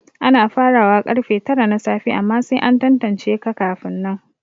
Ana farawa karfe tara na safe amma sai an tantance ka kafin nan